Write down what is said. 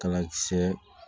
Kala kisɛ